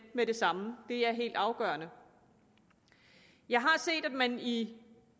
med det samme det er helt afgørende jeg har set at man i